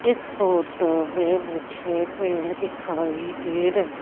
इस फोटो मैं मुझे पेड़ दिखाई दे रहे--